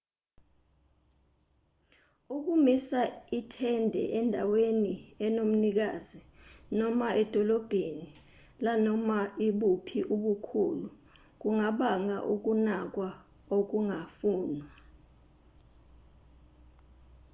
ukumisa itende endaweni enomnikazi noma edolobheni lanoma ibuphi ubukhulu kungabanga ukunakwa okungafunwa